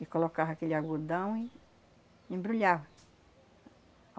E colocava aquele algodão e embrulhava.